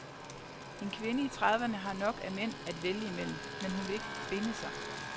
En kvinde i trediverne har nok af mænd at vælge imellem, men hun vil ikke binde sig.